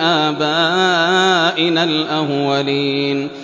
آبَائِنَا الْأَوَّلِينَ